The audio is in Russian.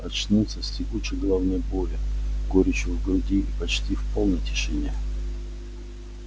очнулся с тягучей головной болью горечью в груди и почти в полной тишине